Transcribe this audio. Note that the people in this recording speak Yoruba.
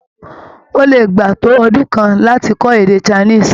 Ó lè gbà á tó ọdún kan láti kọ́ èdè Chinese.